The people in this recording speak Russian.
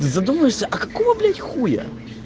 задумаешься а какого блять хуя